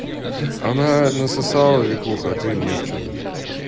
она насосала викуха а ты нет что ты